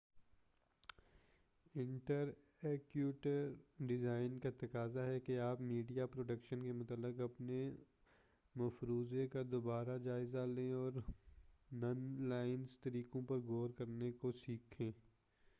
interactive design کا تقاضا ہے کہ آپ میڈیا پروڈکشن کے متعلق اپنے مفروضے کا دوبارہ جائزہ لیں اور نن لینئر طریقوں پر غور کرنے کو سیکھیں